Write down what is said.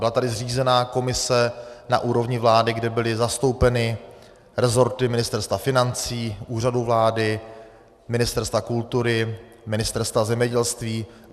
Byla tady zřízena komise na úrovni vlády, kde byly zastoupeny rezorty Ministerstva financí, Úřadu vlády, Ministerstva kultury, Ministerstva zemědělství.